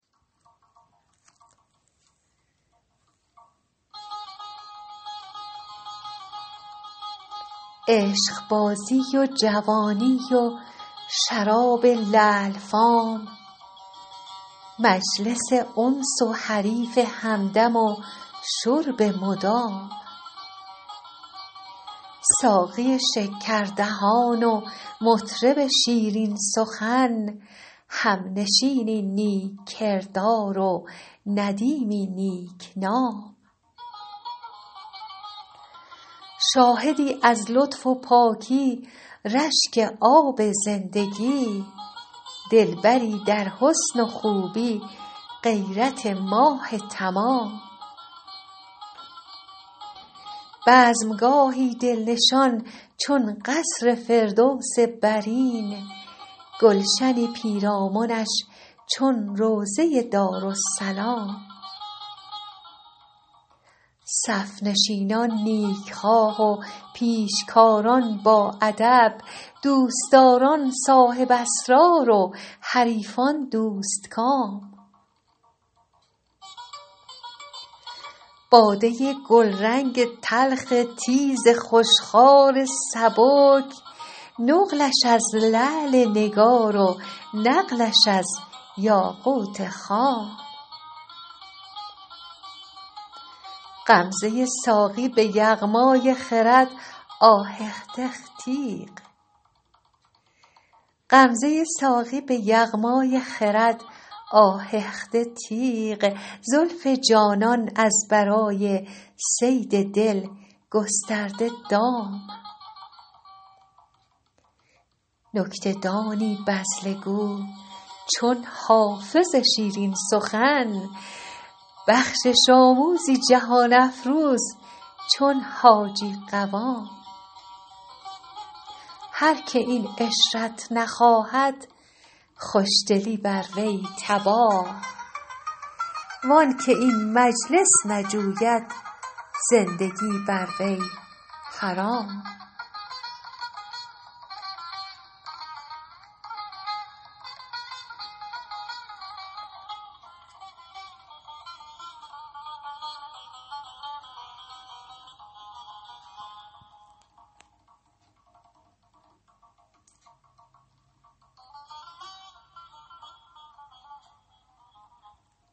عشقبازی و جوانی و شراب لعل فام مجلس انس و حریف همدم و شرب مدام ساقی شکردهان و مطرب شیرین سخن همنشینی نیک کردار و ندیمی نیک نام شاهدی از لطف و پاکی رشک آب زندگی دلبری در حسن و خوبی غیرت ماه تمام بزم گاهی دل نشان چون قصر فردوس برین گلشنی پیرامنش چون روضه دارالسلام صف نشینان نیک خواه و پیشکاران باادب دوست داران صاحب اسرار و حریفان دوست کام باده گلرنگ تلخ تیز خوش خوار سبک نقلش از لعل نگار و نقلش از یاقوت خام غمزه ساقی به یغمای خرد آهخته تیغ زلف جانان از برای صید دل گسترده دام نکته دانی بذله گو چون حافظ شیرین سخن بخشش آموزی جهان افروز چون حاجی قوام هر که این عشرت نخواهد خوش دلی بر وی تباه وان که این مجلس نجوید زندگی بر وی حرام